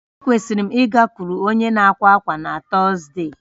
Ekwesịrị m ịgakwuru onye na-àkwà ákwá na Tọzdee